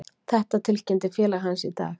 Þetta tilkynnti félag hans í dag.